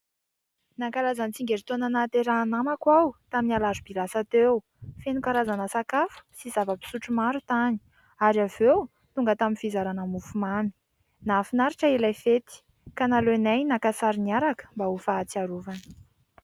Nankalaza ny tsingerintaona nahaterahan'ny namako aho tamin'ny Alarobia lasa teo. Feno karazana sakafo sy zavam-pisotro maro tany. Ary avy eo tonga tamin'ny fizarana mofo mamy. Nahafinaritra ilay fety, ka naleonay naka sary niaraka mba ho fahatsiarovana.